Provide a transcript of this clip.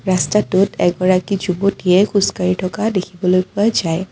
ৰাস্তাটোত এগৰাকী যুৱতীয়ে খোজ কাঢ়ি থকা দেখিবলৈ পোৱা যায়।